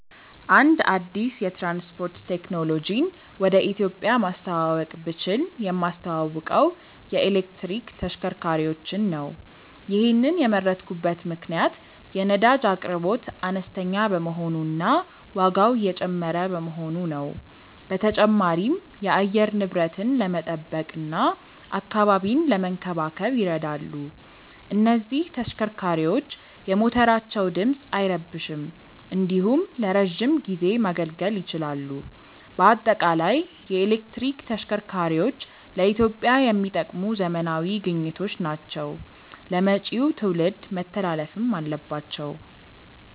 አንድ አዲስ የትራንስፖርት ቴክኖሎጂን ወደ ኢትዮጵያ ማስተዋወቅ ብችል የማስተዋውቀው የኤሌክትሪክ ተሽከርካሪዎችን ነው። ይሔንን የመረጥኩበት ምክንያት የነዳጅ አቅርቦት አነስተኛ በመሆኑ እና ዋጋው እየጨመረ በመሆኑ ነው። በተጨማሪም የአየር ንብረትን ለመጠበቅ እና አካባቢን ለመንከባከብ ይረዳሉ። እነዚህ ተሽከርካሪዎች የሞተራቸው ድምፅ አይረብሽም እንዲሁም ለረዥም ጊዜ ማገልገል ይችላሉ። በአጠቃላይ የኤሌክትሪክ ተሽከርካሪዎች ለኢትዮጵያ የሚጠቅሙ ዘመናዊ ግኝቶች ናቸው ለመጪው ትውልድ መተላለፍም አለባቸው።